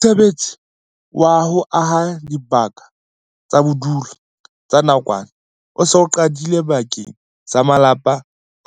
Mosebetsi wa ho aha dibaka tsa bodulo tsa nakwana o se o qadile bakeng sa malapa